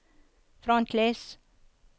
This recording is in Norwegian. frontlys